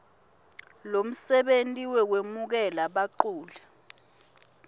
lomsebenti wekwemukela baculi